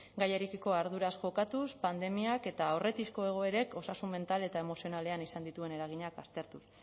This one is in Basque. gaiarekiko arduraz jokatuz pandemiak eta aurretiazko egoerek osasun mental eta emozionalean izan dituen eraginak aztertuz